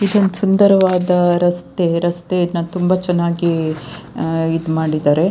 ಇದೊಂದ್ ಸುಂದರವಾದ ರಸ್ತೆ ರಸ್ತೆಯನ್ನ ತುಂಬಾ ಚೆನ್ನಾಗಿ ಇದ್ ಮಾಡಿದ್ದಾರೆ.